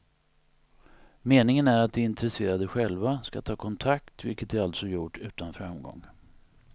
Meningen är att de intresserade själva ska ta kontakt, vilket de alltså gjort utan framgång.